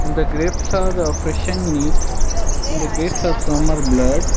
and the grapes are fresh and neat and the grapes are some are bruled.